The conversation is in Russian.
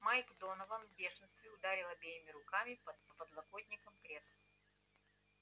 майк донован в бешенстве ударил обеими руками по подлокотникам кресла